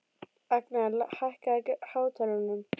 Agnar, hækkaðu í hátalaranum.